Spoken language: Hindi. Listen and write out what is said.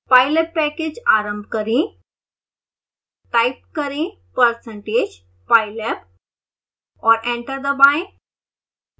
pylab पैकेज आरंभ करें टाइप करें %pylab और एंटर दबाएं